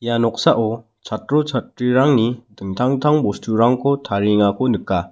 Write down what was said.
ia noksao chatro chatrirangni dingtang dingtang bosturangko tariengako nika.